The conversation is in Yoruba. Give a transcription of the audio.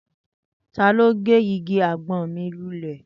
Tani ọ ge Igi àgbọn mi lulè?